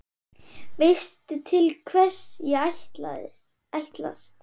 Veistu til hvers ég ætlast?